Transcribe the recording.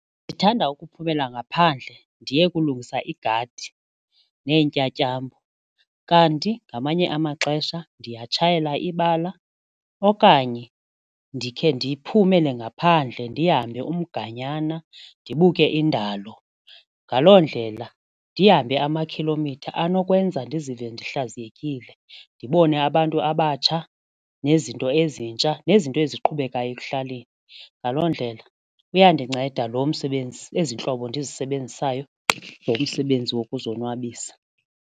Ndithanda ukuphumela ngaphandle ndiye kulungisa igadi neentyatyambo kanti ngamanye amaxesha ndiyatshayela ibala okanye ndikhe ndiphumele ngaphandle ndihambe umganyana ndibuke indalo. Ngaloo ndlela ndihambe amakhilomitha anokwenza ndizive ndihlaziyekile ndibone abantu abatsha nezinto ezintsha nezinto eziqhubekayo ekuhlaleni, ngaloo ndlela uyandinceda lo msebenzi ezi ntlobo ndizisebenzisayo zomsebenzi wokuzonwabisa.